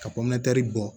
Ka pan kari bɔ